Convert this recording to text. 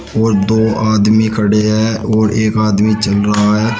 और दो आदमी खड़े हैं और एक आदमी चल रहा है।